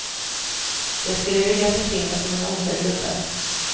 Jag skulle vilja försvinna som en osedd luffare.